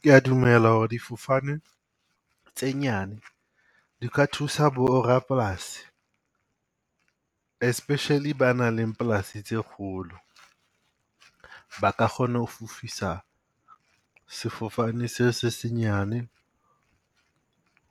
Ke ya dumela ho re difofane tse nyane di ka thusa bo rapolasi, especially ba nang le polasi tse kgolo. Ba ka kgona ho fofisa sefofane se se senyane